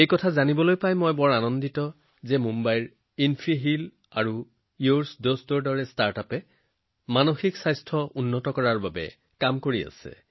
মই জানি আনন্দিত হৈছো যে মুম্বাইস্থিত ইনফি হিল আৰু ইউৰ ডষ্টৰ দৰে ষ্টাৰ্টআপে মানসিক স্বাস্থ্য আৰু সুস্থতাৰ উন্নতিৰ বাবে কাম কৰি আছে